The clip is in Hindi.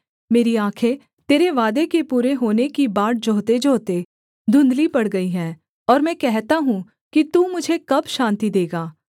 मेरी आँखें तेरे वादे के पूरे होने की बाट जोहतेजोहते धुंधली पड़ गईं है और मैं कहता हूँ कि तू मुझे कब शान्ति देगा